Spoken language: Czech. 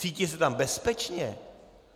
Cítí se tam bezpečně?